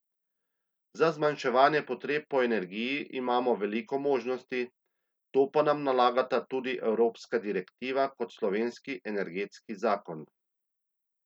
Za zmanjševanje potreb po energiji imamo veliko možnosti, to pa nam nalagata tako evropska direktiva kot slovenski energetski zakon.